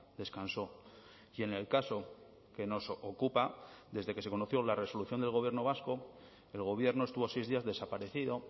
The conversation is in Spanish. descansó y en el caso que nos ocupa desde que se conoció la resolución del gobierno vasco el gobierno estuvo seis días desaparecido